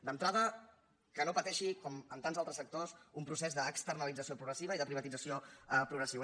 d’entrada que no pateixi com en tants altres sectors un procés d’externalització progressiva i de privatització progressiva